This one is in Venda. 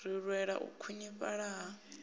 ri lwela u khwinifhala ha